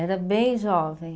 Era bem jovem.